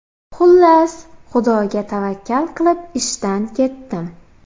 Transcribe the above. Xullas, Xudoga tavakkal qilib ishdan ketdim.